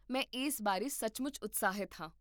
ਮੈਂ ਇਸ ਬਾਰੇ ਸੱਚਮੁੱਚ ਉਤਸ਼ਾਹਿਤ ਹਾਂ